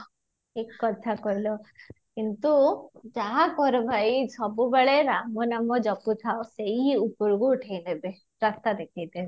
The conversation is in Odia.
ଠିକ କଥା କହିଲ କିନ୍ତୁ ଯାହା କର ଭାଇ ସବୁବେଳେ ରାମ ନାମ ଜପୁ ଥାଅ ସେଇ ଉପରକୁ ଉଠେଇ ଦେବେ ରାସ୍ତା ଦେଖେଇ ଦେବେ